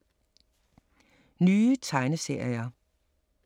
Nye tegneserier